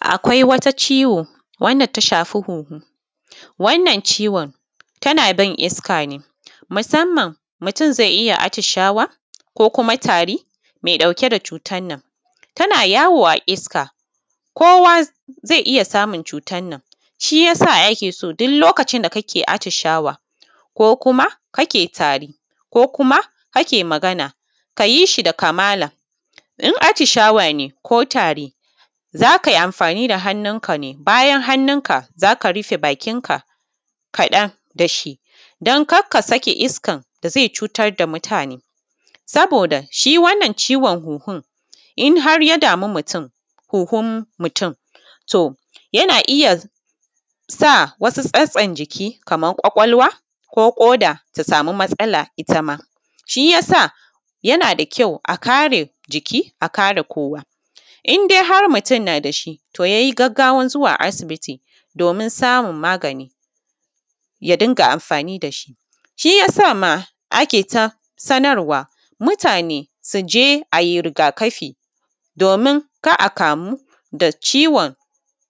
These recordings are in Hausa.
Akwai wata ciwo wanda ta shafi hunhu wannan ciwo tana bin iska ne musamman mutun zai iya a tishawa ko kuma tari mai ɗauke da cutannan tana yawo a iska kowa zai iya samun cutannan shiya a keso duk lokacin da kake atishwa ko kuma kake tari ko kuma kake Magana kayishi da kamala. In a tishawa ne ko ta'ri zakai amafani da hannun kane bayan hannun ka zaka rufe bakinka kaɗan dashi, dan karka saki isakan da zai cutar da mutane, sabosa shiwannan ciwon hunhun inharya damu mutum, huhun muum to yana iya sa wasu sassan jiki Kaman kwakwalwa ko koda ta sama matsala ita ma shiyasa yana da kyau a kare jiki a kare kowa. Indai har mutun nadashi to yayi gaggawan zuwa asibiti domin samun magani ya dinga amafani dashi. Shiyasa ma ake ta sanarwa mutane suje ai rigakafi domin kar a kamu da ciwon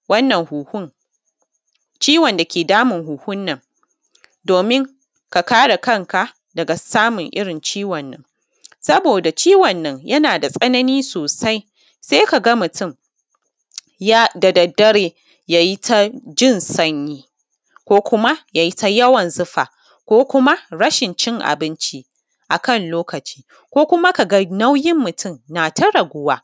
wannan hunhun, ciwon dake damun hunhunnan domin ka kare kanka daga samun irrin ciwonnan saboda ciwonan yanada tsanani sosai, sai kaga mutun ya da daddare yayitajin sanyi ko kuma yayita yawan zufa ko kuma rashin cin abinci akan lokaci ko kuma kaga nauyin mutun nata raguwa.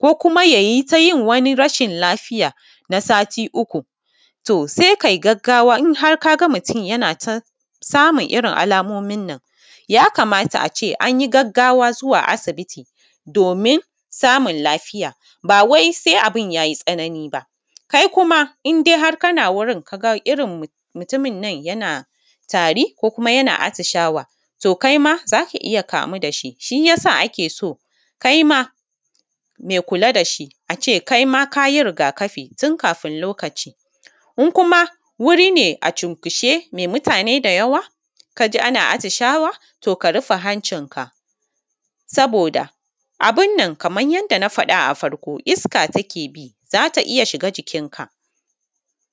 Ko kuma yayita yin wani rashin lafiya na sati uku to sai kai gaggawa inhar kaga mutun samun irrin alamominnan yakamata ace anyi gaggawa zuwa asibitidomin samun lafiya bawai sai abun yayi tsanani ba. Kai kuma inhar kana wurin kaga mutuminnan yana tari ko kuma atishawa, to kaima zaka iyya kamu dashi shiya sa a keso kaima mai kula dashi ace kaima kayi rigakafi tunkafun lokaci in kuma wuri ne a cinkushe mai muatne da yawa kaji ana atishawa to ka rufe hancin ka saboda abunnan Kaman yanda na faɗa a farko iska takebi zata iya shiga jikin ka.